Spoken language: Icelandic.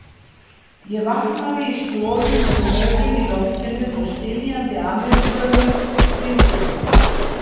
Ég vaknaði í stofu með rörum í loftinu og stynjandi Ameríkönum í kringum mig.